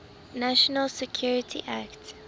national security act